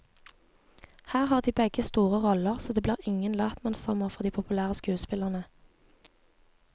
Her har de begge store roller, så det blir ingen latmannssommer for de populære skuespillerne.